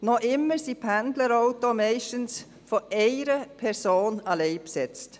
Noch immer sind Pendlerautos meist von einer Person alleine besetzt.